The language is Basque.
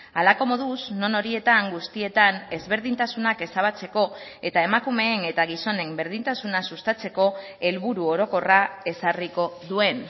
halako moduz non horietan guztietan ezberdintasunak ezabatzeko eta emakumeen eta gizonen berdintasuna sustatzeko helburu orokorra ezarriko duen